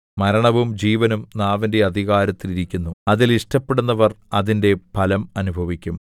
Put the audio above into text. മരണവും ജീവനും നാവിന്റെ അധികാരത്തിൽ ഇരിക്കുന്നു അതിൽ ഇഷ്ടപ്പെടുന്നവർ അതിന്റെ ഫലം അനുഭവിക്കും